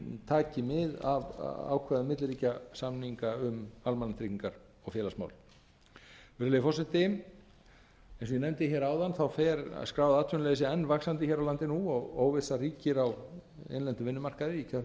taki mið af ákvæðum milliríkjasamninga við almannatryggingar og félagsmál virðulegi forseti eins og ég nefndi áðan fer skráð enn vaxandi hér á landi nú og óvissa ríkir á innlendum vinnumarkaði í